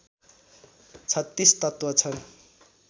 ३६ तत्त्व छन्